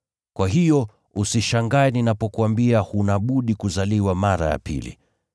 Kwa hiyo usishangae ninapokuambia huna budi ‘kuzaliwa mara ya pili.’